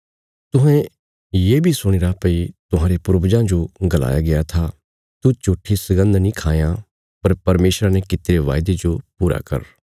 तुहें ये बी सुणीरा भई अहांरे पूर्वजां जो गलाया गया था तू झूट्ठी सगन्द नीं खायां पर परमेशरा ने कित्तिरे बायदे जो पूरा कर